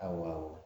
Awɔ